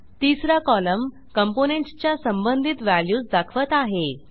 तिसरा column components च्या संबंधित व्हॅल्यूज दाखवत आहे